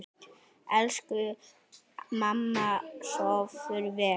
Elsku mamma, sofðu vel.